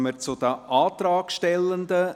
Somit kommen wir zu den Antragstellenden.